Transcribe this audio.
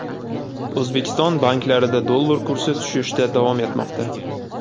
O‘zbekiston banklarida dollar kursi tushishda davom etmoqda.